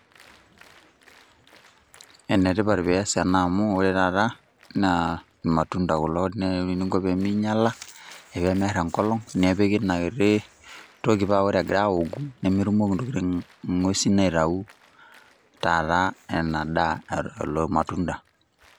Enetipat pias ena amu ore taata naa irmatunda kulo neaku ore eniko pee minyala pee miar enkolong nepiki ina kiti toki paa ore egira aoku nemetumoki ntokitin inguesi aitayu taata ina daa lelo matunda.